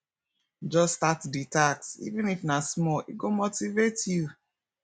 just start di task even if na small e go motivate you